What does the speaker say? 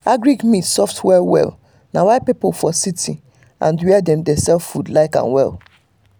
agric meat soft well well na why people for city and were dem dey sell food like am well.